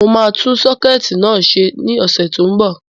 Mo máa tún sọ́kẹ̀tì náà ṣe ní ọ̀sẹ̀ tó n bọ̀